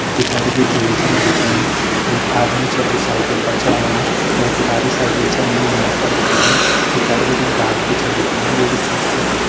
पिछाड़ी जू झील छ दिखेणी एक आदमी छ जू साइकिल पर छू आणू वैकि आधी साइकिल छ आयीं इमेज पर छ दिखेणी पिछाड़ी बिटिन घास भी दिखेणु वो भी छोटू छोटू।